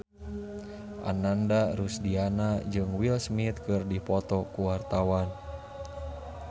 Ananda Rusdiana jeung Will Smith keur dipoto ku wartawan